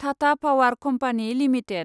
Tata power company limited